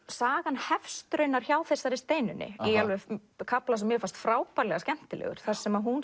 sagan hefst raunar hjá þessari Steinunni í kafla sem mér fannst frábærlega skemmtilegur þar sem hún